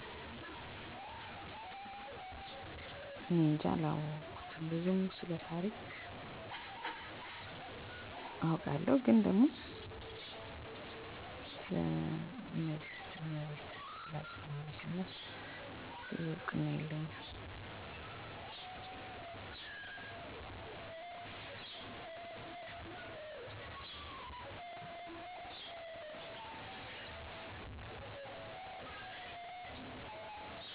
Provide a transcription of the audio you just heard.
አዎ፣ በኢትዮጵያ ቤተሰብ እና ማህበረሰብ ውስጥ የሚነገሩ በጣም ታዋቂ የሆነ አፈ ታሪክ የንግሥት እመቤት እና የሰሎሞን ዘር ነው። ይህ ታሪክ እንደሚያመለክተው ንግሥት እመቤት ከኢየሩሳሌም በመምጣት የአርአያ ልጅ ሚኒሊክን ለመፈለግ ወደ ኢትዮጵያ መጣች። እመቤት እና ሚኒሊክ የሰሎሞን ንጉሥ ዘር አርቆ የኢትዮጵያን ሥልጣኔ አስጀመሩ። ይህ ታሪክ ኢትዮጵያውያን ከጥንታዊ እና ኃያል ሥርወ መንግሥት እንደሚወርሱ የሚያሳይ ኩራት ነው። በተጨማሪም ይህ አፈ ታሪክ በብሉይ ኪዳን መጽሐፍ ቅዱስ ጥናት ውስጥ የተጠቀሰ ሲሆን ኢትዮጵያውያንን የሃይማኖት እና የታሪክ ባህላቸውን ለመግለጽ ያገለግላል።